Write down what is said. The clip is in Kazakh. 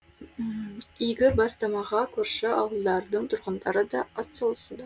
игі бастамаға көрші ауылдардың тұрғындары да атсалысуда